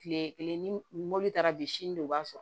Kile kelen ni mobili taara bi sini de b'a sɔrɔ